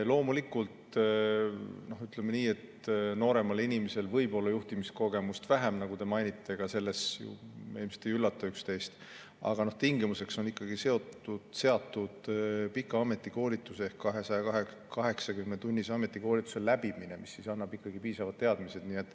Loomulikult, ütleme nii, et nooremal inimesel võib olla juhtimiskogemust vähem, nagu te mainite – selles me ilmselt ei üllata üksteist –, aga tingimuseks on ikkagi seatud pika ametikoolituse ehk 280‑tunnise koolituse läbimine, mis siis annab ikkagi piisavad teadmised.